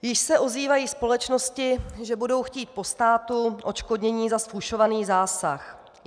Již se ozývají společnosti, že budou chtít po státu odškodnění za zfušovaný zásah.